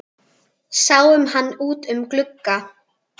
Sáum hann út um glugga.